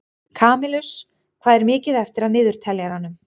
Kamilus, hvað er mikið eftir af niðurteljaranum?